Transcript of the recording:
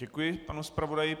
Děkuji panu zpravodaji.